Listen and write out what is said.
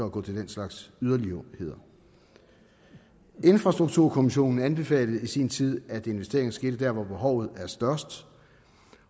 at gå til den slags yderligheder infrastrukturkommissionen anbefalede i sin tid at investeringer skal ske der hvor behovet er størst